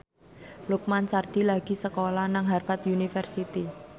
Lukman Sardi lagi sekolah nang Harvard university